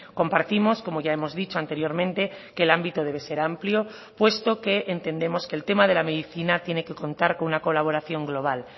compartimos como ya hemos dicho anteriormente que el ámbito debe ser amplio puesto que entendemos que el tema de la medicina tiene que contar con una colaboración global